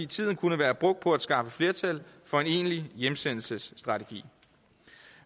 tiden kunne være brugt på at skaffe flertal for en egentlig hjemsendelsesstrategi